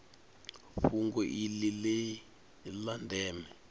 fhungo iḽi ḽi ḽa ndeme